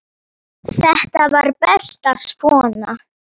Þetta var best svona.